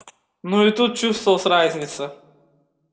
но и тут чувствовалась разница